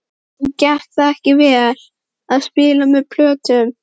Og gekk það ekki vel. að spila með plötum?